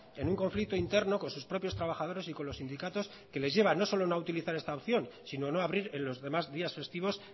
en un conflicto interno con sus propios trabajadores y con los sindicatos que les lleva no solo a no utilizar esta opción sino a no abrir en los demás días festivos